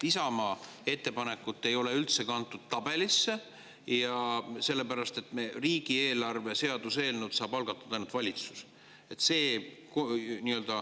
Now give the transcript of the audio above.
Isamaa ettepanekut ei ole üldse kantud tabelisse ja riigieelarve seaduse eelnõu saab algatada ainult valitsus.